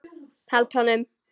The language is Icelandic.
Held honum.